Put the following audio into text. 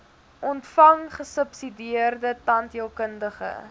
ontvang gesubsidieerde tandheelkundige